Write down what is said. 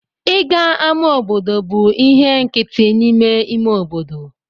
Ịga ama obodo bụ ihe nkịtị n'ime ime obodo.